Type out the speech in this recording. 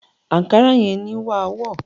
Àńkárá yẹn ni wàá wọ̀